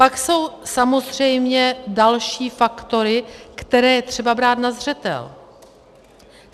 Pak jsou samozřejmě další faktory, které je třeba brát na zřetel.